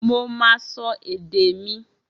Mo máa sọ èdè mi